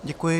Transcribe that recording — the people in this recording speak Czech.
Děkuji.